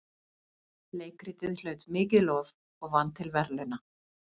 Leikritið hlaut mikið lof og vann til verðlauna.